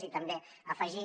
i també afegir